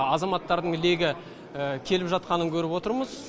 азаматтардың легі келіп жатқанын көріп отырмыз